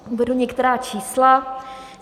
Uvedu některá čísla.